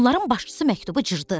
Onların başçısı məktubu cırdı.